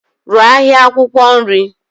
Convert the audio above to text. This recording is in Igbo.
Rụọ ahịa akwụkwọ nri.